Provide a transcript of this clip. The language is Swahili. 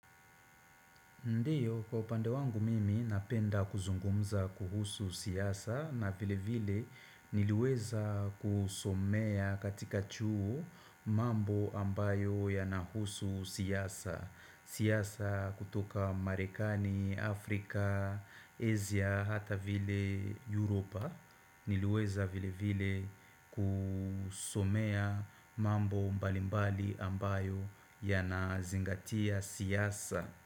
Ndiyo, kwa upande wangu mimi napenda kuzungumza kuhusu siasa na vile vile niliweza kusomea katika chuo mambo ambayo yanahusu siasa. Siasa kutoka Marekani, Afrika, Asia hata vile Europa niliweza vile vile kusomea mambo mbalimbali ambayo yanazingatia siasa.